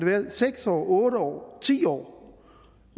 være seks år otte år og ti år